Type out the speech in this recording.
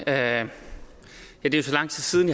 at herre